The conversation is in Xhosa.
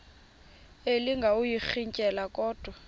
elinga ukuyirintyela kodwa